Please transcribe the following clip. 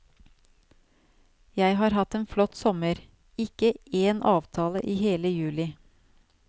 Jeg har hatt en flott sommer, ikke én avtale i hele juli.